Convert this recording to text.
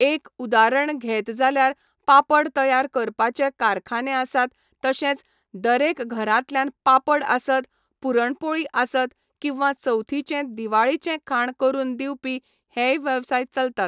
एक उदारण घेत जाल्यार पापड तयार करपाचें कारखाने आसात तशेंच दरेक घरांतल्यान पापड आसत, पुरणपोळी आसत किंवा चवथीचें दिवाळीचें खाण करून दिवपी हेंय वेवसाय चलतात.